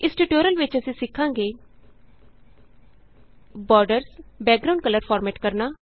ਇਸ ਟਿਯੂਟੋਰਿਅਲ ਵਿਚ ਅਸੀਂ ਸਿਖਾਂਗੇ ਬੋਰਡਰਸ ਬੈਕਗਰਾਂਉਂਡ ਕਲਰ ਫਾਰਮੈਟ ਕਰਨਾ